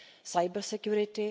cybersecurity